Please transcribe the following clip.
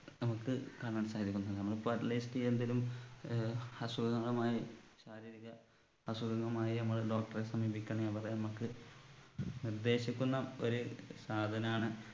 നമുക്ക് കാണാൻ സാധിക്കുന്നത് നമ്മള് at least എന്തേലും ഏർ അസുഖങ്ങളുമായി ശാരീരിക അസുഖങ്ങളുമായി നമ്മൾ doctor എ സമീപിക്കയാണെ അവര്‍ നമുക്ക് നിർദേശിക്കുന്ന ഒരു സാധനാണ്